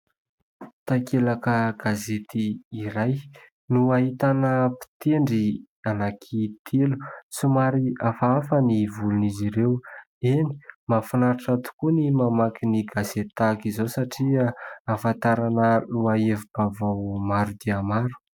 Takelaka gazety iray no ahitana mpitendry anankitelo somary hafahafa ny volon'izy ireo eny, mahafinaritra tokoa ny mamaky ny gazety toy izao satria ahafantarana lohahevi-baovao maro dia maro.